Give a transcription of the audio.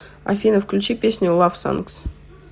афина включи песню лавсонгс